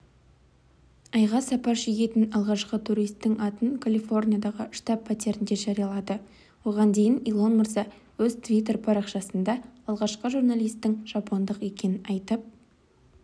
айға сапар шегетін алғашқы туристің атын колифорниядағы штаб-пәтерінде жариялады оған дейін илон мырза өз твиттер парақшасында алғашқы туристтің жапондық екенін айтып